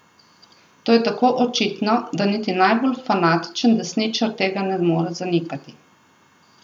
To je tako očitno, da niti najbolj fanatičen desničar tega ne more zanikati.